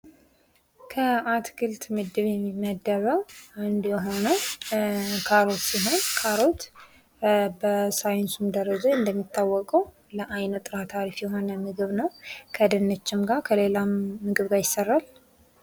ከአትክልት ምድብ የሚመደበው አንዱ የሆነው ካሮት ሲሆን ካሮት በሳይንስ ደረጃ እንደሚታወቀው ለአይን ጥራት አሪፍ የሆነ ምግብ ነው ከድንችም ጋር ከሌላ ምግብም ጋር ይሰራል።